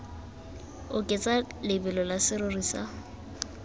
oketsa lebelo la serori sa